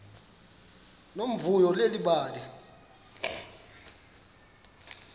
nomvuyo leli bali